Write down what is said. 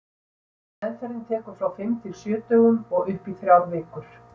Meðferðin tekur frá fimm til sjö dögum og upp í þrjár vikur.